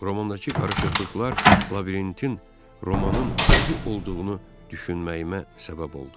Romandakı qarışıqlıqlar labirintin romanın özü olduğunu düşünməyimə səbəb oldu.